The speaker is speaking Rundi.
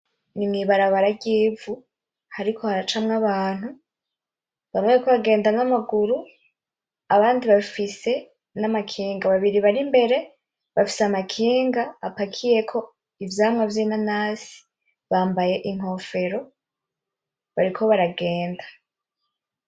N’imwibarabara ry'ivu hariko haracamwo abantu bamwe bariko baragenda n'amaguru abandi bafise n’amakinga babiri bari imbere bafise amakinga apakiyeko ivyamwa vyinanasi bambaye inkofero bariko baragenda .